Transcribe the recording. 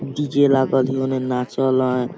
डी.जे. लागल है ओने नाचल आए।